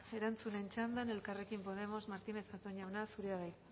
erantzunen txandan elkarrekin podemos martínez zatón jauna zurea da hitza